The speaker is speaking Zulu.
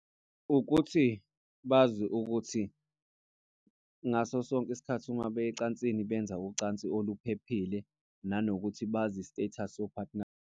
Ukuthi bazi ukuthi ngaso sonke isikhathi uma beya ecansini, benza ucansi oluphephile. Nanokuthi bazi i-status so-partner.